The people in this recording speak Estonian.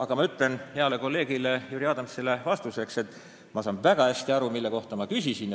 Aga ma ütlen heale kolleegile Jüri Adamsile vastuseks, et ma saan väga hästi aru, mille kohta ma küsisin.